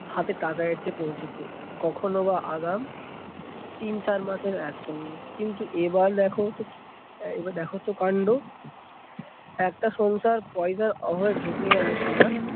হাতে টাদা এসে পৌছেছে, কখনো বা আগাম তিন চার মাসের একসঙ্গে। কিন্তু এবার দেখোতো কি এবার দেখোতো কান্ড। একটা সংসার পয়সার অভাবে ভেসে গেল কিনা